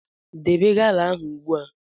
Debe gala ahụ ugbu a!